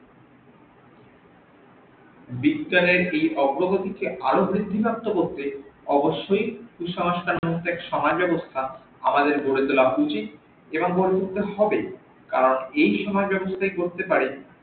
বিজ্ঞানের এই অগ্রগতিকে আরও বৃদ্ধিপ্রাপ্ত করতে অবশ্যই কুসংস্কার মুক্ত এক সমাজ ব্যাবস্থা আমাদের গড়ে তোলা উচিত যেটা বলতে হবে কারন এই করতে পারে